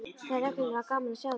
Það er reglulega gaman að sjá þig!